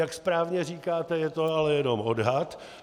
Jak správně říkáte, je to ale jenom odhad.